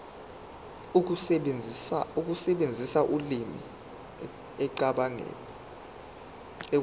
ukusebenzisa ulimi ekucabangeni